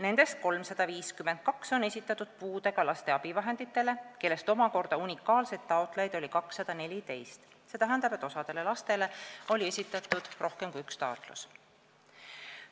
Nendest 352 on esitatud puudega lapsele abivahendi saamiseks, unikaalseid taotlejaid oli omakorda 214, st osal lastel oli esitatud rohkem kui üks taotlus.